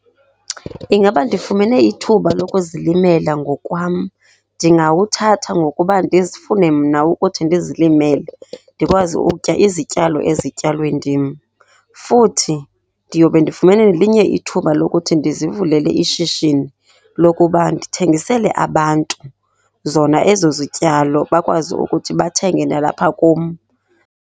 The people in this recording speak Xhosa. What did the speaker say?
Ingaba ndifumene ithuba lokuzilimela ngokwam. Ndingawuthatha ngokuba ndizifune mna ukuthi ndizilimele, ndikwazi ukutya izityalo ezityalwe ndim. Futhi ndiyobe ndifumene nelinye ithuba lokuthi ndizivulele ishishini lokuba ndithengisele abantu zona ezo zityalo, bakwazi ukuthi bathenge nalapha kum.